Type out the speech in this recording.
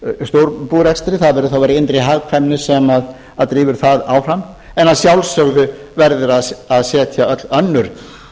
slíkum stórbúrekstur það verði þá að vera innri hagkvæmni sem drífur það áfram en að sjálfsögðu verður að setja öll önnur